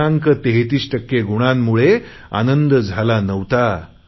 33 टक्के गुणांमुळे आनंद झाला नव्हता